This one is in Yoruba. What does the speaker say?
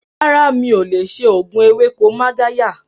Rárá, mi ò lè ṣe òògùn ewéko Magarya